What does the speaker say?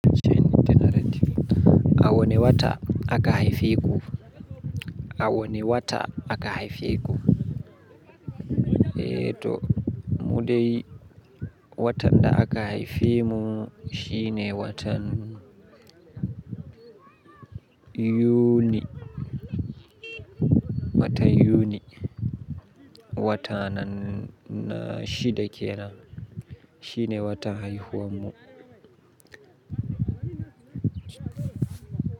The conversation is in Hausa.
A wani wata aka haifeku, a wani wata aka haifeku, eeh to mu dai watan da aka haife mu shine watan yuni, watan yuni wata na shida kenan. Shine watan haihuwanmu.